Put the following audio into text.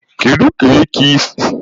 Kedu ka ikike si ruo ndị agha aka?